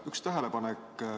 Üks tähelepanek.